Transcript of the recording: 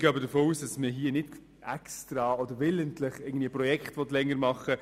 Wir gehen aber davon aus, dass niemand willentlich Projekte in die Länge zieht.